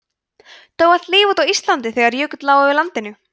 dó allt líf út á íslandi þegar jökull lá yfir landinu